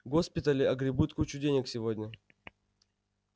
госпитали огребут кучу денег сегодня